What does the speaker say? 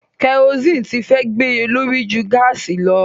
Kẹrosíìnì ti fẹ́ gbéye lórí ju gáàsì lọ.